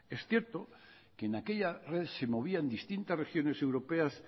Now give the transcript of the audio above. es cierto que en aquella red se movían distintas regiones europeas